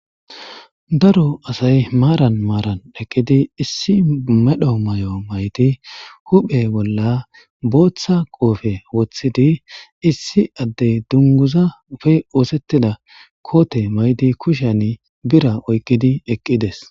Daro asayi maran marna eqqidi Mississippi mera mayo maydi huphphe bolla boththa qoobe woththidi isi adde dunguzappe ossetida kote mayidi bira oyqqidi eqqides